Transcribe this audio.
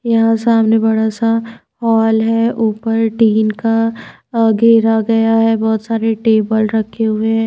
यहां सामने बड़ा सा हॉल है ऊपर टीन का घेरा गया है बहुत सारे टेबल रखे हुए हैं।